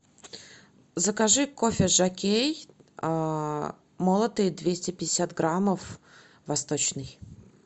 закажи кофе жокей молотый двести пятьдесят граммов восточный